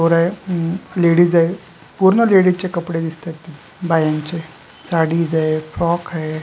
पोर आहे लेडीज आहे पुर्ण लेडीज चे कपडे दिसतात तिथे बायांचे साडीज आहेत फ्रॉक आहे.